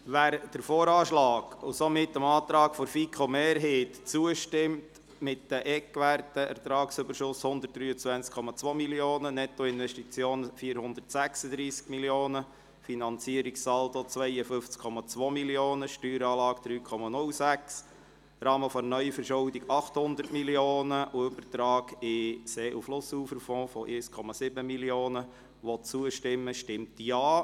Wer dem VA und somit dem Antrag der FiKo-Mehrheit zustimmt – mit den Eckwerten Ertragsüberschuss: 123,2 Mio. Franken, Nettoinvestitionen: 406 Mio. Franken, Finanzierungssaldo: 52,2 Mio. Franken, Steueranlage: 3,06, Rahmen der Neuverschuldung: 800 Mio. Franken sowie Übertrag in den See- und Flussuferfonds von 1,7 Mio. Franken –, stimmt Ja.